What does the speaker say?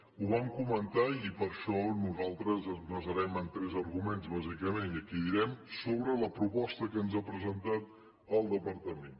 ho vam comentar i per això nosaltres ens basarem en tres arguments bàsicament i aquí ho direm sobre la proposta que ens ha presentat el departament